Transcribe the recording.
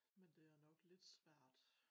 Men det er nok lidt svært